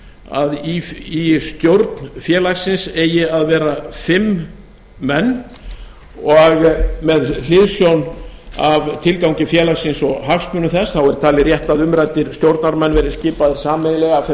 að í stjórn félagsins eigi að vera fimm menn og með hliðsjón af tilgangi félagsins og hagsmunum þess er talið rétt að umræddir stjórnarmenn verði skipaðir sameiginlega af þeim